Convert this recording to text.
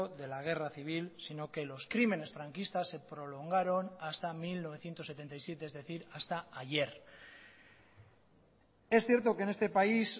de la guerra civil sino que los crímenes franquistas se prolongaron hasta mil novecientos setenta y siete es decir hasta ayer es cierto que en este país